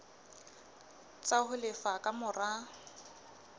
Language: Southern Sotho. tsa ho lefa ka mora